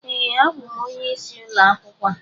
Ee, abụ m onye isi ulo akwukwo a